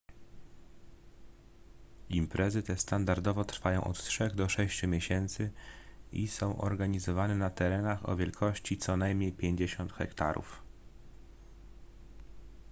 imprezy te standardowo trwają od trzech do sześciu miesięcy i są organizowane na terenach o wielkości co najmniej 50 hektarów